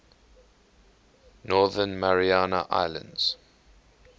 northern mariana islands